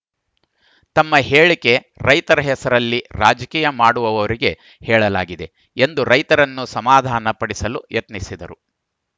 ತಮ್ಮ ಹೇಳಿಕೆ ರೈತರ ಹೆಸರಲ್ಲಿ ರಾಜಕೀಯ ಮಾಡುವವರಿಗೆ ಹೇಳಲಾಗಿದೆ ಎಂದು ರೈತರನ್ನು ಸಮಾಧಾನ ಪಡಿಸಲು ಯತ್ನಿಸಿದರು